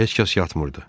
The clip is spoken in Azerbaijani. Heç kəs yatmırdı.